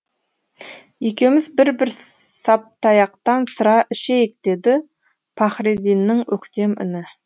екеуміз бір бір саптаяқтан сыра ішейік деді пахридиннің өктем үні